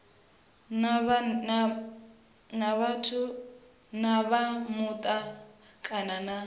na vha muta kana na